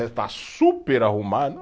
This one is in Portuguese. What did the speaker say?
Está super arrumado.